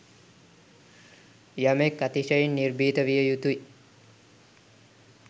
යමෙක් අතිශයින් නිර්භීත විය යුතුයි.